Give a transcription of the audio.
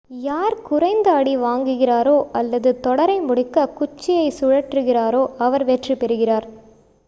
யார் குறைந்த அடி வாங்குகிறாரோ அல்லது தொடரை முடிக்க குச்சியைச் சுழற்றுகிறாரோ அவர் வெற்றி பெறுகிறார்